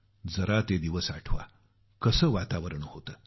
जरा ते दिवस आठवा कसं वातावरण होतं